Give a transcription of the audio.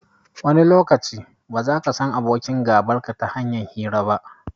Wani lokaci, ba zaka san abokin gabarka ta hanyar hira ba.